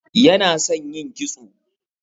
Yana son yin kitso.